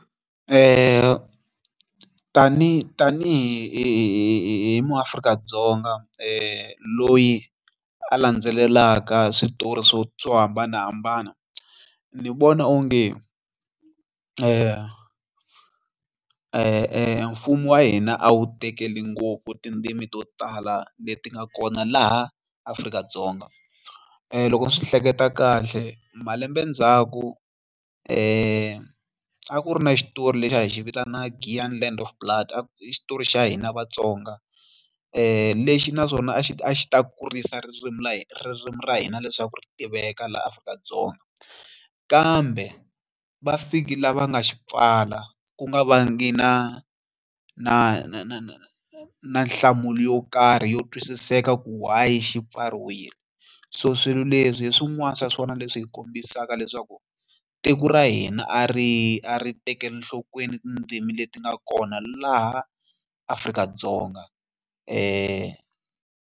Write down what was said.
Tani tanihi muAfrika-Dzonga loyi a landzelelaka switori swo swo hambanahambana ni vona onge mfumo wa hina a wu tekeli ngopfu tindzimi to tala leti nga kona laha Afrika-Dzonga loko ni swi hleketa kahle malembe ndzhaku a ku ri na xitori lexi a hi xi vitaniwa Giyani Land of Blood xitori xa hina Vatsonga lexi naswona a xi a xi ta kurisa ririmi ririmi ra hina leswaku ri tiveka laha Afrika-Dzonga kambe va fiki laha va nga xi pfala ku nga vangi na na na na na na nhlamulo yo karhi yo twisiseka ku why xi pfariwile so swilo leswi hi swin'wana swa swona leswi hi kombisaka leswaku tiko ra hina a ri a ri tekeli enhlokweni tindzimi leti nga kona laha Afrika-Dzonga .